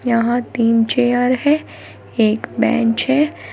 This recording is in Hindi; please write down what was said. यहां तीन चेयर है एक बेंच है।